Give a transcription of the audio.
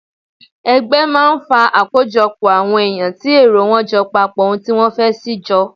Ẹgbẹ́ máa ń fa àkójọpọ̀ àwọn èyàn tí èrò wọ́n jọ papọ̀ ohun tí wọ́n fẹ́ sì jọ.